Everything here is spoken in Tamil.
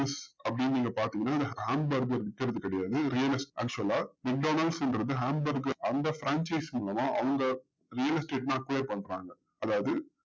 அப்டின்னு நீங்க பாத்திங்கன்னா ham burger விக்கிறது கெடையாது actual லா றது ham burger அந்த மூலமா அவங்க real estate ல apply பண்றாங்க அதாவது